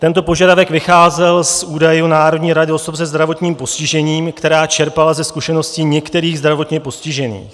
Tento požadavek vycházel z údajů Národní rady osob se zdravotním postižením, která čerpala ze zkušeností některých zdravotně postižených.